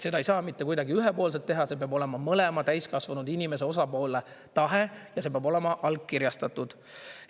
Seda ei saa mitte kuidagi ühepoolselt teha, see peab olema mõlema täiskasvanud inimese, osapoole tahe ja see peab olema allkirjastatud.